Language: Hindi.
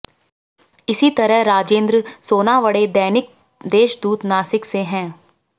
इसी तरह राजेंद्र सोनावड़े दैनिक देशदूत नासिक से हैं